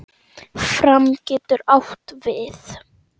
Fram getur átt við